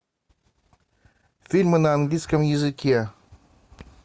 фильмы на английском языке